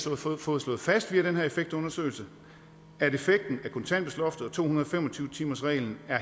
har fået fået slået fast via den her effektundersøgelse at effekten af kontanthjælpsloftet og to hundrede og fem og tyve timersreglen er